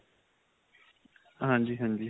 ਹਾਂਜੀ ਹਾਂਜੀ .